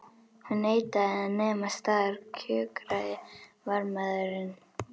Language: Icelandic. Hún neitaði að nema staðar kjökraði varðmaðurinn.